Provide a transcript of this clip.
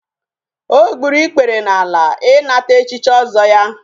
o gburu ikpere n'ala inata echichi ozo ya